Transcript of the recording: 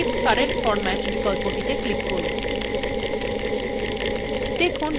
পরিশেষে keep current format বিকল্পটিতে click করুন